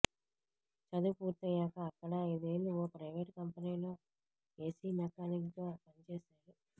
చదువు పూర్తయ్యాక అక్కడే ఐదేళ్లు ఓ ప్రైవేటు కంపెనీలో ఏసీ మెకానిక్గా పని చేశాడు